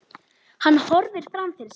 Hann horfir fram fyrir sig.